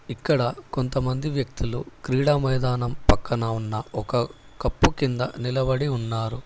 ఇక్కడ కొంతమంది వ్యక్తులు క్రీడా మైదానం పక్కన ఉన్న ఒక కప్పు కింద నిలబడి ఉన్నారు.